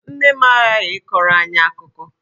Nne m aghaghị ịkọrọ anyị akụkọ!